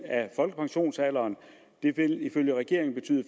af folkepensionsalderen vil ifølge regeringen betyde at